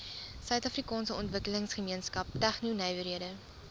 suidafrikaanse ontwikkelingsgemeenskap tegnonywerhede